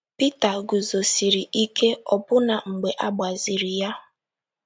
Pita guzosịrị ike ọbụna mgbe a gbaziri ya